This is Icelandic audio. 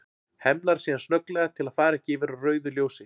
Hemlar síðan snögglega til að fara ekki yfir á rauðu ljósi.